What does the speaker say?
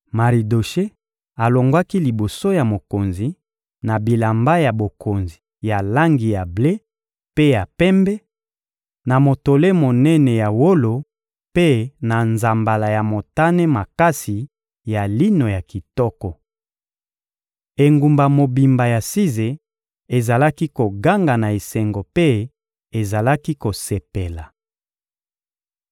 Maridoshe alongwaki liboso ya mokonzi, na bilamba ya bokonzi ya langi ya ble mpe ya pembe, na motole monene ya wolo mpe na nzambala ya motane makasi ya lino ya kitoko. Engumba mobimba ya Size ezalaki koganga na esengo mpe ezalaki kosepela.